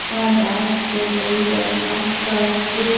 यहां डांस कर रही और आसपास --